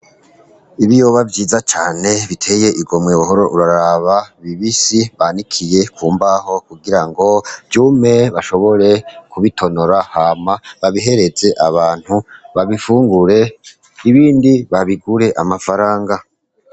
Ibi yoba vyiza cane biteye igomwe buhoro uraraba bibisi banikiye ku mbaho kugira ngo vyume bashobore kubitonora hama babihereze abantu babifungure ibindi babigure amafaranga.